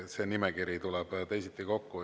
See nimekiri teisiti.